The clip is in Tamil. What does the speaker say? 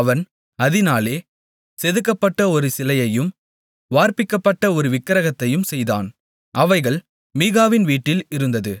அவன் அதினாலே செதுக்கப்பட்ட ஒரு சிலையையும் வார்ப்பிக்கப்பட்ட ஒரு விக்கிரகத்தையும் செய்தான் அவைகள் மீகாவின் வீட்டில் இருந்தது